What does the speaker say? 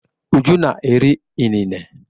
Uju na-eri inine.